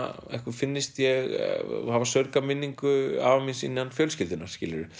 finnist ég hafa saurgað minningu afa míns innan fjölskyldunnar